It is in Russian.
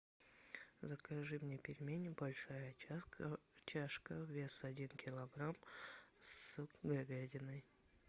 закажи мне пельмени большая чашка вес один килограмм с говядиной